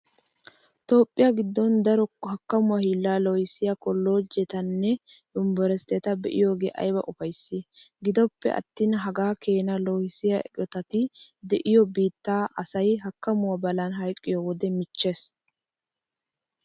Toophphiya giddon daro hakkamuwa hiillaa loohissiya kolloojjetanne yunverestteta be'iyogee ayba ufayssii! Gidoppe attin hagaa keena loohissiya eqotati de'iyo biittan asay hakkamuwa balan hayqqiyo wode michchees.